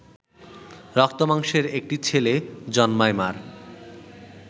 রক্তমাংসের একটি ছেলে জন্মায় মা’র